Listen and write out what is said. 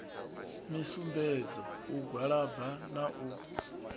misumbedzo u gwalaba na u